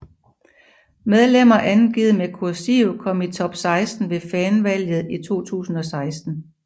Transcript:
Medlemmer angivet med kursiv kom i top 16 ved fanvalget i 2016